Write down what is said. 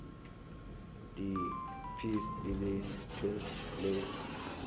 di peas di lentils le